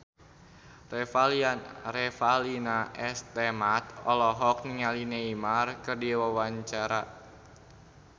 Revalina S. Temat olohok ningali Neymar keur diwawancara